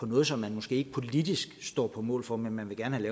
noget som man måske ikke politisk står på mål for men gerne vil